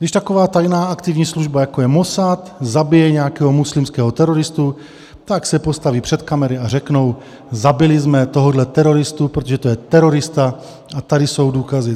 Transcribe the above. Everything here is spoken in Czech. Když taková tajná aktivní služba, jako je Mossad, zabije nějakého muslimského teroristu, tak se postaví před kamery a řeknou: Zabili jsme tohoto teroristu, protože to je terorista, a tady jsou důkazy.